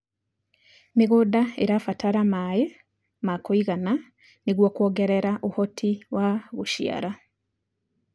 mĩgũnda irabatara maĩ ma kũigana nĩguo kuongerea uhoti wa guciara